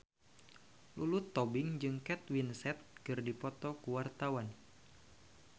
Lulu Tobing jeung Kate Winslet keur dipoto ku wartawan